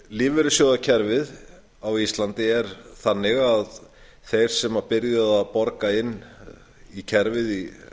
lífeyrissjóðakerfið á íslandi er þannig að þeir sem byrjuðu að borga inn í kerfið